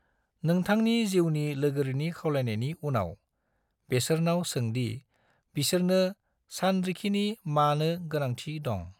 नोंथांनि जिउनि लोगोरिनि खावलायनायनि उनाव, बेसोरनाव सों दि बिसोरनो सानरिखिनि मानो गोनांथि दं।